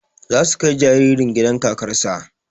Za su kai jaririn gidan kakar sa